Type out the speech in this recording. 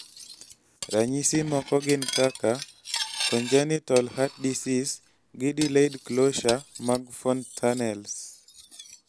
ranyisi moko gin kaka congenital heart disease gi delayed closure mag fontanelles